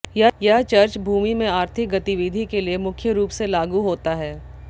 यह चर्च भूमि में आर्थिक गतिविधि के लिए मुख्य रूप से लागू होता है